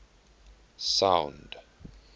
sound